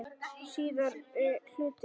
Síðari hluti